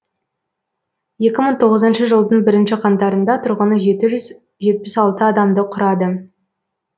екі мың тоғызыншы жылдың бірінші қаңтарында тұрғыны жеті жүз жетпіс алты адамды құрады